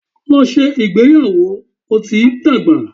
Lọ ṣe ìgbéyàwò! o ti n dagba.